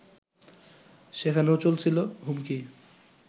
সেখানেও চলছিল হুমকি